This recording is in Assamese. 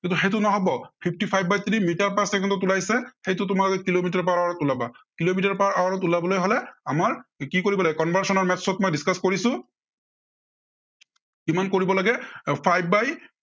সেইটো নহব, fifty five by three metre per second ত ওলাইছে, সেইটো তোমালোকে কিলোমিটাৰ per hour ত ওলাবা। কিলোমিটাৰ per hour ত ওলাব হলে আমাৰ কি কৰিব লাগিব conversonal maths ত মই discuss কৰিছো কিমান কৰিব লাগে এৰ five by